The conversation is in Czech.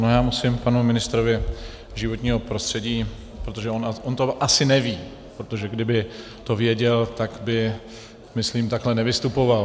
No, já musím panu ministrovi životního prostředí - protože on to asi neví, protože kdyby to věděl, tak by, myslím, takhle nevystupoval.